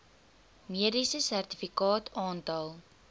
mediese sertifikaat aantal